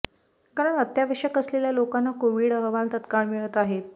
कारण अत्यावश्यक असलेल्या लोकांना कोविड अहवाल तत्काळ मिळत आहेत